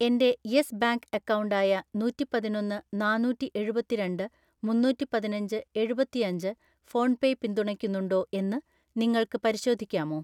എൻ്റെ Yes Bank account ആയ നൂറ്റിപതിനൊന്ന് നാന്നൂറ്റിഎഴുപത്തിരണ്ട് മുന്നൂറ്റിപതിനഞ്ച് എഴുപത്തിയഞ്ച് ഫോൺപേ പിന്തുണയ്ക്കുന്നുണ്ടോ എന്ന് നിങ്ങൾക്ക് പരിശോധിക്കാമോ?